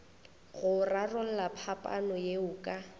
go rarolla phapano yeo ka